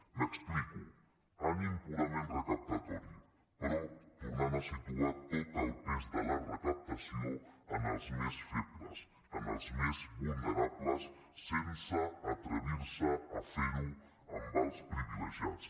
m’explico ànim purament recaptatori però tornant a situar tot el pes de la recaptació en els més febles en els més vulnerables sense atrevir se a fer ho amb els privilegiats